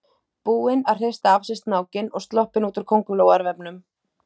Búinn að hrista af sér snákinn og sloppinn út úr kóngulóarvefnum!